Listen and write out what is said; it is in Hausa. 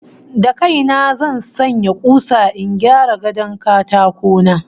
Da kai na zan sanya kusa in gyara gadon katako na